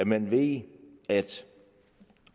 man ved